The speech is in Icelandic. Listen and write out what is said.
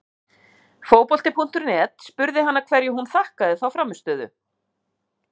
Fótbolti.net spurði hana hverju hún þakkaði þá frammistöðu?